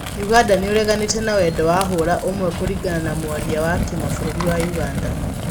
ũganda nĩ ũreganĩte na wendo wa hũra ũmwe kũringana na mwaria wa kimabũrũri wa ũganda.